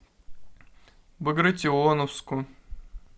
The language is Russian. багратионовску